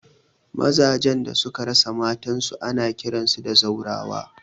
Maza jan da suka rasa matan su ana kiransu zaurawa